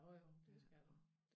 Jo jo det skal du